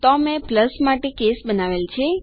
તો મેં પ્લસ માટે કેસ બનાવેલ છે